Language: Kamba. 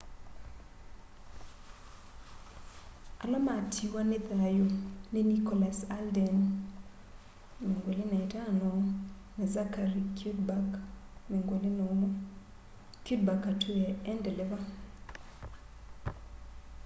ala matiwa ni thayu ni nicholas alden 25 na zachary cuddeback 21 cuddeback atwie e ndeleva